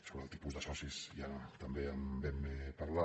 sobre el tipus de socis ja també en vam parlar